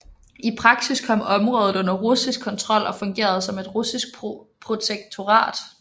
I praksis kom området under russisk kontrol og fungerede som et russisk protektorat